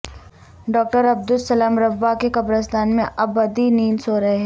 doctor Abdus Salam Rabwah کے قبرستان میں ابدی نیند سو رہے ہیں